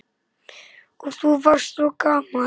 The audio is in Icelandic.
Og þú varst svo gamall.